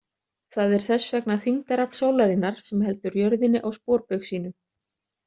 Það er þess vegna þyngdarafl sólarinnar sem heldur jörðinni á sporbaug sínum!